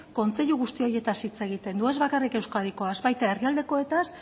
kontseilu guzti horietaz hitz egiten du ez bakarrik euskadikoaz baita herrialdekoetaz